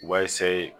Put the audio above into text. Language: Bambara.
U b'a